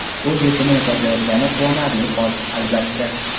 o‘z yechimini topayotgani quvonarli hol, albatta.